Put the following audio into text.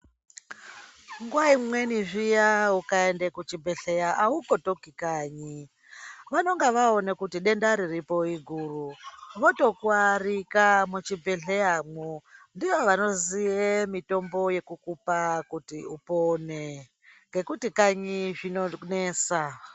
Nguva imweni zviya ukaende kuchibhedhleya haukotoki kanyi. Vanonga vaone kuti denda riripo iguru votokuarika muchibhedhleya mwo. Ndivo vanoziye mitombo yekukupa kuti upone. Ngekuti kanyi zvinonesa.